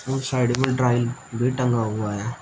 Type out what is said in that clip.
और साइड में ड्राई भी टंगा हुआ है।